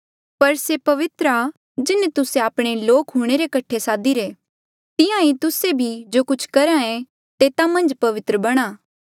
पर से पवित्र आ जिन्हें तुस्से आपणे लोक हूंणे रे कठे सादिरे तिहां ईं तुस्से भी जो कुछ करहे तेता मन्झ पवित्र बणां